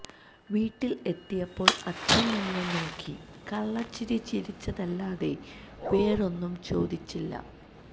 വീട്ടിൽ എത്തിയപ്പോൾ അച്ഛൻ എന്നെ നോക്കി കള്ള ചിരി ചിരിച്ചതല്ലാതെ വേറൊന്നും ചോദിച്ചില്ല